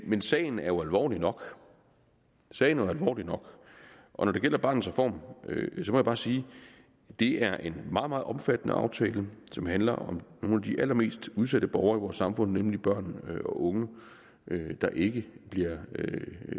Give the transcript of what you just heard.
men sagen er jo alvorlig nok sagen er jo alvorlig nok og når det gælder barnets reform må jeg bare sige at det er en meget meget omfattende aftale som handler om nogle af de allermest udsatte borgere i vores samfund nemlig børn og unge der ikke